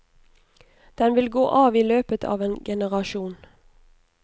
Den vil gå av i løpet av en generasjon.